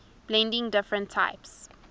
blending different types